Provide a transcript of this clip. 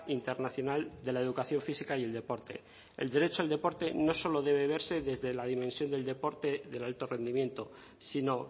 internacional de la educación física y el deporte el derecho del deporte no solo debe verse desde la dimensión del deporte del alto rendimiento sino